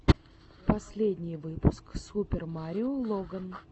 последний выпуск супер марио логан